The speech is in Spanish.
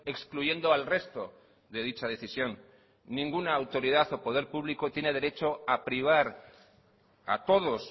excluyendo al resto de dicha decisión ninguna autoridad o poder público tiene derecho a privar a todos